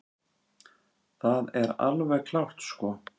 Það er alveg klárt sko.